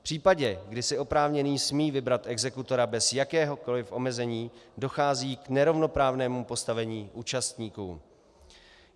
V případě, kdy si oprávněný smí vybrat exekutora bez jakéhokoliv omezení, dochází k nerovnoprávnému postavení účastníků.